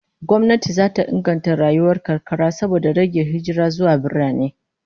Gwamnati zata inganta rayuwar karkara saboda rage hijira zuwa birane